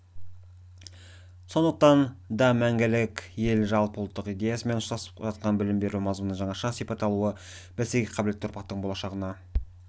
сондықтан да мәңгілік ел жалпыұлттық идеясымен ұштасып жатқан білім беру мазмұнының жаңаша сипат алуы бәсекеге қабілетті ұрпақтың болашағына